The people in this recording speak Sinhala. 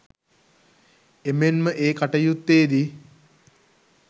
එමෙන්ම ඒ කටයුත්තේදී